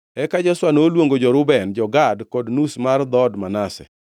Eka Joshua noluongo jo-Reuben, jo-Gad kod nus mar dhood Manase